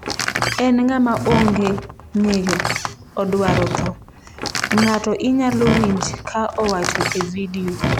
"""En ng'ama onge ng'eyo, odwaro tho,"" ng'ato inyalo winj ka owacho e vidio."